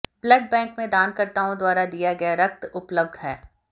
blood bank में दानकर्ताओं द्वारा दिया गया रक्त उपलब्ध है